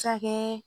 Se ka kɛ